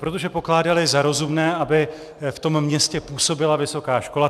Protože pokládali za rozumné, aby v tom městě působila vysoká škola.